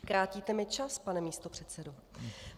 Krátíte mi čas, pane místopředsedo.